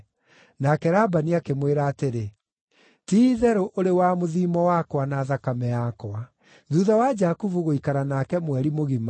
Nake Labani akĩmwĩra atĩrĩ, “Ti-itherũ, ũrĩ wa mũthiimo wakwa na thakame yakwa.” Jakubu Kũhikia Lea na Rakeli Thuutha wa Jakubu gũikara nake mweri mũgima,